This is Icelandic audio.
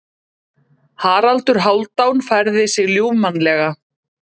Haraldur Hálfdán færði sig ljúfmannlega.